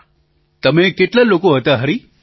પ્રધાનમંત્રી તમે કેટલા લોકો હતા હરિ